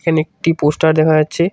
এখানে একটি পোস্টার দেখা যাচ্ছে।